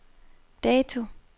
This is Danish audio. dato